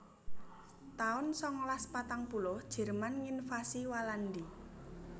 taun songolas patang puluh Jerman nginvasi Walandi